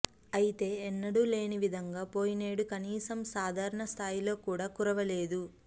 అయితే ఎన్నడూ లేని విధంగా పోయినేడు కనీసం సాధారణ స్థాయిలో కూడా కురవలేదు